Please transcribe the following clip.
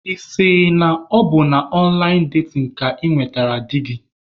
Ị sị na ọ bụ na ọnlaịn datin ka ị nwetara di gị?